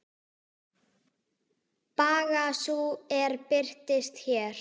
Baga sú er birtist hér.